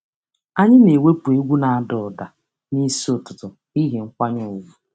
Anyị na-ewepụ egwu na-ada ụda n'isi ụtụtụ n'ihi nkwanye ùgwù.